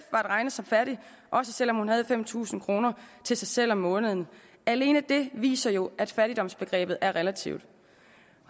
at regne som fattig også selv om hun havde fem tusind kroner til sig selv om måneden alene det viser jo at fattigdomsbegrebet er relativt